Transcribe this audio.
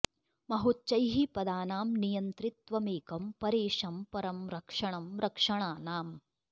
महोच्चैः पदानां नियन्तृ त्वमेकं परेशं परं रक्षणं रक्षणानाम्